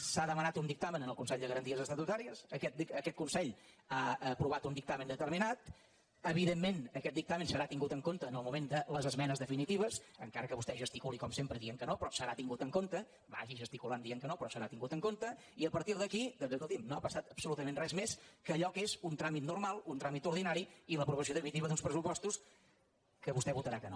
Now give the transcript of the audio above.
s’ha demanat un dictamen al consell de garanties estatutàries aquest consell ha aprovat un dictamen determinat evidentment aquest dictamen serà tingut en compte en el moment de les esmenes definitives encara que vostè gesticuli com sempre dient que no però serà tingut en compte vagi gesticulant dient que no però serà tingut en compte i a partir d’aquí doncs escolti’m no ha passat absolutament res més que allò que és un tràmit normal un tràmit ordinari i l’aprovació definitiva d’uns pressupostos als quals vostè votarà que no